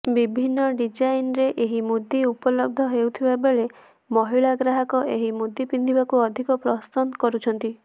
ବିଭିନ୍ନ ଡିଜାଇନରେ ଏଇ ମୁଦି ଉପଲବ୍ଧ ହେଉଥିବାବେଳେ ମହିଳା ଗ୍ରାହକ ଏହି ମୁଦି ପିନ୍ଧିବାକୁ ଅଧିକ ପସନ୍ଦ କରୁଛନ୍ତି